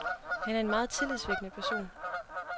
Han er en meget tillidsvækkende person.